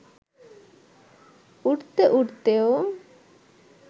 উড়তে উড়তেও